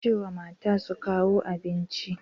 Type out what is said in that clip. Ka ce wa mata su kawo abincin.